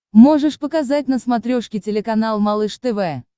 можешь показать на смотрешке телеканал малыш тв